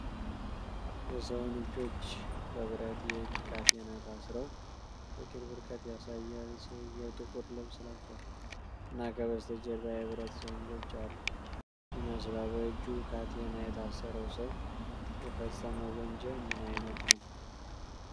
የሰውን እጆች በብረት የእጅ ካቴና ታስረው በቅርብ ርቀት ያሳያል። ሰውየው ጥቁር ልብስ ለብሷል እና ከበስተጀርባ የብረት ዘንጎች ያሉ ይመስላል። በእጁ ካቴና የታሰረው ሰው የፈፀመው ወንጀል ምን አይነት ነው?